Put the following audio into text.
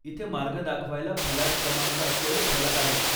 इथे मार्ग दाखवायला फलाट क्रमांक असलेले फलक आहेत.